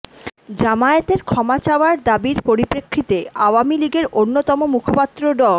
জামায়াতের ক্ষমা চাওয়ার দাবির পরিপ্রেক্ষিতে আওয়ামী লীগের অন্যতম মুখপাত্র ড